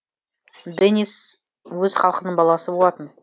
денис өз халқының баласы болатын